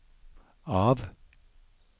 av